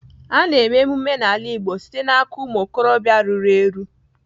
A na-eme emume n'ala Igbo site n'aka ụmụ okorobịa ruru eru.